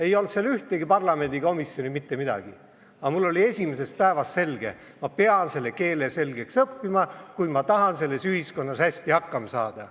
Ei olnud seal ühtegi parlamendikomisjoni, mitte midagi, aga mul oli esimesest päevast selge: ma pean selle keele selgeks õppima, kui ma tahan selles ühiskonnas hästi hakkama saada.